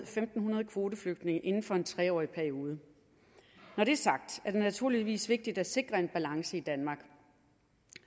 fem hundrede kvoteflygtninge inden for en tre årig periode når det er sagt er det naturligvis vigtigt at sikre en balance i danmark